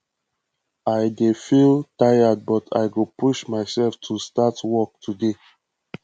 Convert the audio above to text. i dey feel tired but i go push myself to start work today